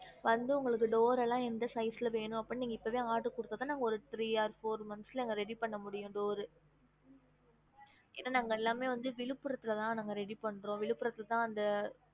வந்து உங்களுக்கு door எல்லாம் எந்த size ல வேணும் அப்டின்னு நீங்க இப்பவே order குடுத்த தான் நாங்க ஓரு three or four months ல நாங்க ready பண்ண முடியும் door என்னா நாங்க எல்லாமே வந்து விழுப்புரத்துல தான் நாங்க ready பண்றோம் விழுப்புரத்துல தான் அந்த